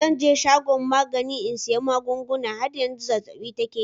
“Zan je shagon saida magani in sayi magunguna. har yanzu zazzab'i take yi.